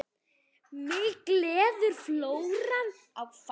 Mig gleður flóran og fánan.